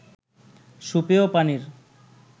সুপেয় পানির